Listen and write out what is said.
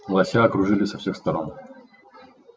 лося окружили со всех сторон